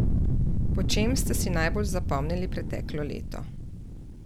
Po čem ste si najbolj zapomnili preteklo leto?